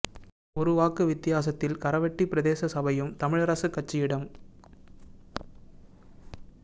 ஒரு வாக்கு வித்தியாசத்தில் கரவெட்டி பிரதேச சபையும் தமிழரசுக் கட்சியிடம